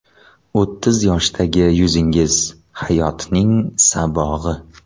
O‘ttiz yoshdagi yuzingiz – hayotning sabog‘i.